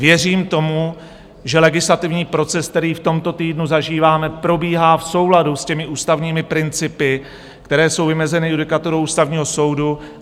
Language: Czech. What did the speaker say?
Věřím tomu, že legislativní proces, který v tomto týdnu zažíváme, probíhá v souladu s těmi ústavními principy, které jsou vymezeny judikaturou Ústavního soudu.